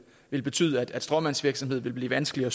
vil betyde at stråmandsvirksomhed vil blive vanskeligere